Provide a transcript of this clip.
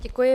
Děkuji.